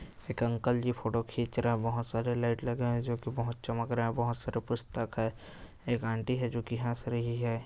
एक uncle ji photo खींच रहे बहुत सारे लाइट लगे है जो की बहुत चमक रहे हैं बहुत सारे पुस्तक है एक आंटी है जो की हंस रही है |